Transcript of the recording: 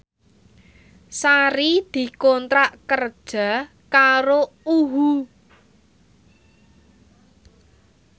Sari dikontrak kerja karo UHU